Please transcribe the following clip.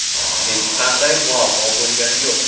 Hech qanday muammo bo‘lgani yo‘q.